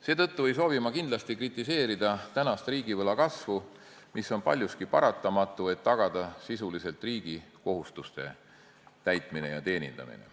Seetõttu ei soovi ma kindlasti kritiseerida tänast riigivõla kasvu, mis on paljuski paratamatu, et sisuliselt tagada riigi kohustuste täitmine ja teenindamine.